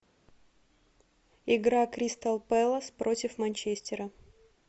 игра кристал пэлас против манчестера